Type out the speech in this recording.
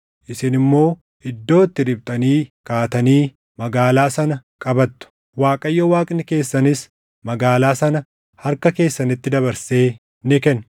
isin immoo iddoo itti riphxanii kaatanii magaalaa sana qabattu. Waaqayyo Waaqni keessanis magaalaa sana harka keessanitti dabarsee ni kenna.